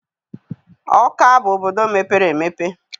Ọka bụ obodo mepere emepe.